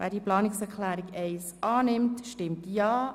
Wer die Planungserklärung 2 annehmen will, stimmt Ja.